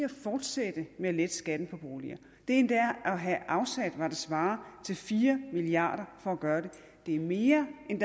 fortsætte med at lette skatten på boliger det endda at have afsat hvad der svarer til fire milliard for at gøre det er mere end